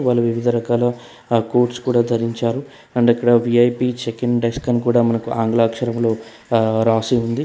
వాళ్ళు వివిధ రకాల ఆ కోట్స్ కూడా ధరించారు అండ్ ఇక్కడ వి_ఐ_పి చెకింగ్ డెస్క్ అని కూడా మనకు ఆంగ్ల అక్షరములో రాసి ఉంది.